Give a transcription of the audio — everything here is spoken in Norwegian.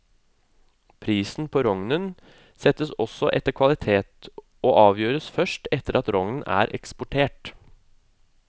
Prisen på rognen settes også etter kvalitet, og avgjøres først etter at rognen er eksportert.